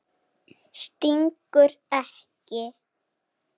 Stingur ekki.